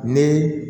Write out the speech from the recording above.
Ni